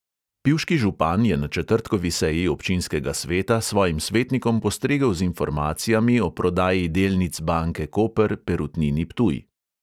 Pivški župan je na četrtkovi seji občinskega sveta svojim svetnikom postregel z informacijami o prodaji delnic banke koper perutnini ptuj.